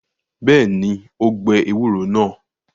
Bẹ́ẹ̀ ni, ó gbẹ ewúro náà.